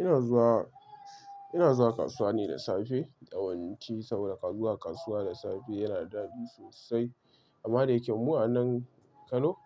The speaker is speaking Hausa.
Ina zuwa, ina zuwa kasuwa ne da safe yawanci saboda zuwa kasuwa da safe yana da dadi sosai amma da yake mu a nan Kano